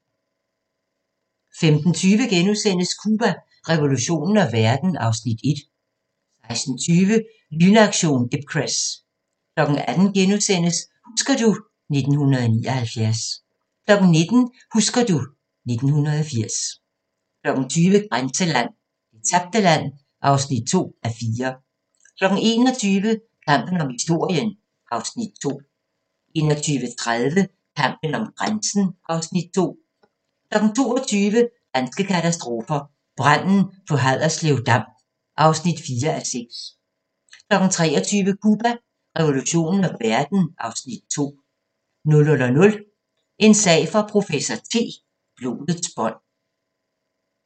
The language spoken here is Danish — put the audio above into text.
15:20: Cuba, revolutionen og verden (Afs. 1)* 16:20: Lynaktion Ipcress 18:00: Husker du ... 1979 * 19:00: Husker du ... 1980 20:00: Grænseland – Det tabte land (2:4) 21:00: Kampen om historien (Afs. 2) 21:30: Kampen om grænsen (Afs. 2) 22:00: Danske katastrofer – Branden på Haderslev Dam (4:6) 23:00: Cuba, revolutionen og verden (Afs. 2) 00:00: En sag for professor T: Blodets bånd